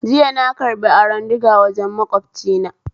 Jiya na karbi aron diga wajen makwabcina